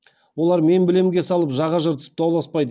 олар мен білемге салып жаға жыртысып дауласпайды